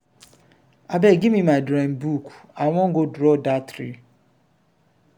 abeg give me my drawing book i wan go draw dat tree.